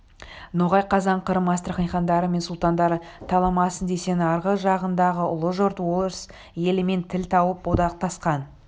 ноғай қазан қырым астрахань хандары мен сұлтандары таламасын десең арғы жағыңдағы ұлы жұрт орыс елімен тіл тауып одақтасқан